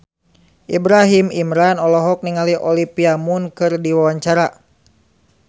Ibrahim Imran olohok ningali Olivia Munn keur diwawancara